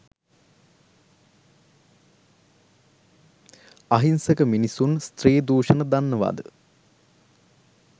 අහිංසක මිනිසුන් ස්ත්‍රී දුෂණ දන්නවද?